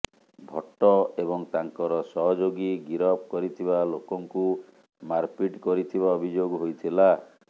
ଭଟ୍ଟ ଏବଂ ତାଙ୍କର ସହଯୋଗୀ ଗିରଫ କରିଥିବା ଲୋକଙ୍କୁ ମାରପିଟ କରିଥିବା ଅଭିଯୋଗ ହୋଇଥିଲା